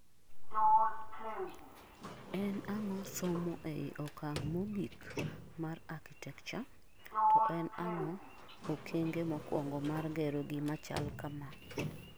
en an'go somo ei okang mogik mar architecture, to en ang'o okenge mokuongo mar gero gima chalo kamaa?